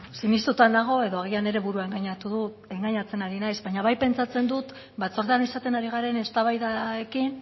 sinestuta nago edo agian neure burua engainatzen ari naiz baina bai pentsatzen dut batzordean izaten ari garen eztabaidarekin